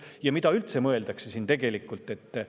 Ja mida üldse tegelikult mõeldakse?